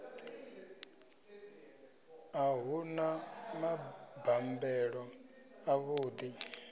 a hu na mabambelo avhuḓi